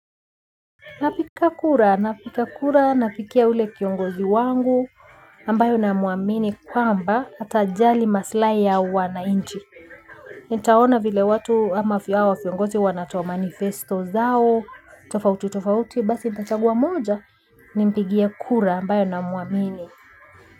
Napiga kura, napiga kura, napigia ule kiongozi wangu, ambayo namuamini kwamba atajali maslai ya wanainchi. Nitaona vile watu ama hawa viongozi wanatoa manifesto zao, tofauti tofauti, basi nitachagua mmoja, nimpigie kura ambaye namuamini.